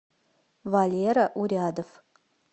валера урядов